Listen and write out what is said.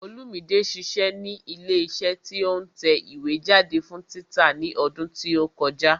Olúmide ṣiṣẹ́ ní ilé iṣẹ́ tí ó ń tẹ ìwé jáde fún títa ní ọdún tí ó kọjá